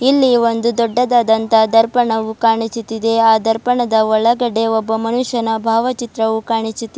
ಇಲ್ಲಿ ಒಂದು ದೊಡ್ಡದಾದಂತ ದರ್ಪಣವು ಕಾಣಿಸುತ್ತಿದೆ ಆ ದರ್ಪಣದ ಒಳಗಡೆ ಒಬ್ಬ ಮನುಷ್ಯನ ಭಾವಚಿತ್ರ ಕಾಣಿಸುತ್ತಿದೆ.